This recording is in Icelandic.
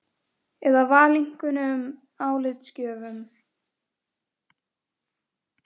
Eða valinkunnum álitsgjöfum?